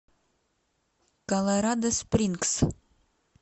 колорадо спрингс